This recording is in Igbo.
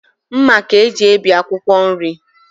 Mma ka e ji ebi akwụkwọ nri.